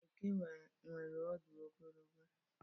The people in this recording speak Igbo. Oke nwere ọdụ ogologo.